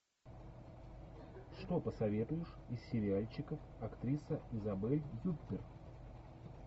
что посоветуешь из сериальчиков актриса изабель юппер